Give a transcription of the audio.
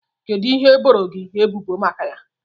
Kedụ ihe e boro gị ebubo maka ya?